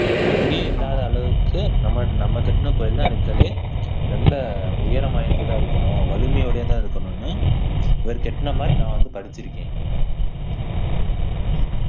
அஹ் எங்கேயும் இல்லாத அளவுக்கு நம்ம நம்ம கட்டின கோயில்தான் இருக்குறதிலேயே ரொம்ப உயரம் வாய்ந்ததா இருக்கணும் வலிமையுடையதா இருக்கணும்னு இவர் கட்டின மாதிரி நான் வந்து படிச்சிருக்கேன்